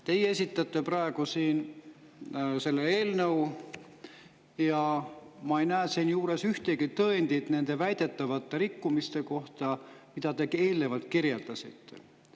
Teie esitate praegu siin selle eelnõu ja ma ei näe siinjuures ühtegi tõendit nende väidetavate rikkumiste kohta, mida te ka eelnevalt kirjeldasite.